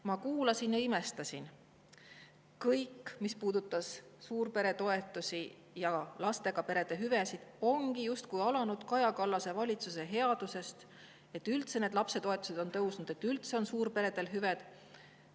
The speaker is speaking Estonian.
Ma kuulasin ja imestasin, et kõik, mis puudutas suurperetoetusi ja lastega perede hüvesid, ongi justkui alanud Kaja Kallase valitsuse headusest – et lapsetoetused üldse tõusnud on ja et suurperedel üldse hüved on.